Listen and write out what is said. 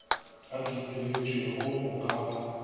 a dumelwetšego go ka ba